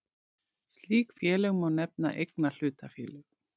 Slík félög má nefna eignahlutafélög.